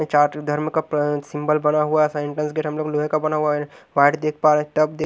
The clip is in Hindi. जात धर्म का प्र सिंबल बना हुआ है फिर हम लोग लोहे का बना हुआ है मैट दिख पा रहे हैं टब देख--